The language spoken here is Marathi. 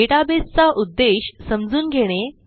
डेटाबेस चा उद्देश समजून घेणे